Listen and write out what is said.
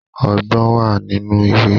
Ọgbọ́n wà nínú ìwé